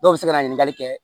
Dɔw bɛ se ka na ɲininkali kɛ